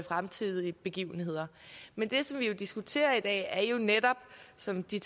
fremtidige begivenheder men det vi diskuterer i dag er jo netop som de